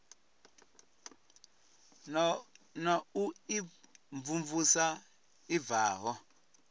na u imvumvusa a bvaho